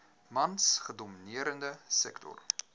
mans gedomineerde sektor